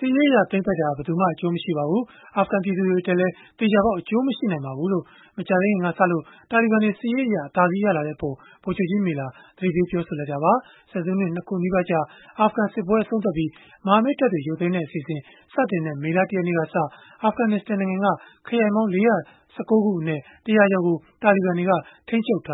စစ်ရေးအရ သိမ်းပိုက်တာဟာ ဘယ်သူမှ အကျိုးမရှိနိုင်ပါဘူး။ အာဖဂန်ပြည်သူတွေ အတွက်လည်း သေချာပေါက် အကျိုးမရှိပါဘူး။” လို့ မကြာသေးခင်ကစလို့ တာလီဘန်တွေက စစ်ရေးအရ အသာစီး ရလာတဲ့အပေး ဗိုလ်ချုပ်ကြီး Miller က သတိပေးပြောဆိုလိုက်တာပါ။ ဆယ်စုနှစ် ၂ ခု နီးပါးကြာ အာဖဂန်စစ်ပွဲ အဆုံးသတ်ပြီး မဟာမိတ် တပ်ဖွဲ့တွေ ရုပ်သိမ်းတဲ့အစီအစဉ် စတင်တဲ့ မေလ ၁ ရက်နေ့ကစ အာဖဂနစ္စတန်နိုင်ငံက ခရိုင်ပေါင်း ၄၁၉ ခုအနက် ၁၀၀ ကျော်ကို တာလီဘန်တွေ ထိန်းချုပ်ထ